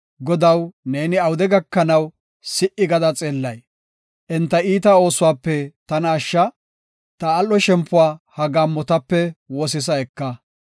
Godaw, neeni awude gakanaw, si77i gada xeellay? Enta iita oosuwape tana ashsha; ta al7o shempuwa ha gaammotape wosisa eka.